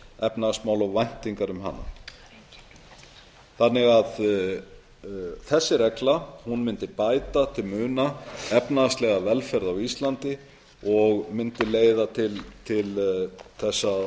efnahagsmála og væntingar um hana þessi regla mundi því bæta til muna efnahagslega velferð á íslandi og mundi leiða til þess